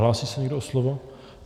Hlásí se někdo o slovo?